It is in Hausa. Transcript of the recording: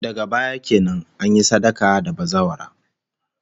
Daga baya kenan, an yi sadaka da bazawara